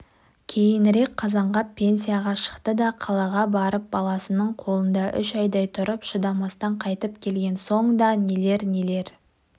кейінірек қазанғап пенсияға шықты да қалаға барып баласының қолында үш айдай тұрып шыдамастан қайтып келген соң да нелер-нелер